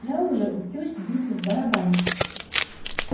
я уже учусь бить в барабан